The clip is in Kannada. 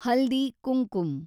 ಹಲ್ದಿ ಕುಂಕುಮ್